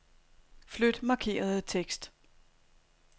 Flyt markerede tekst.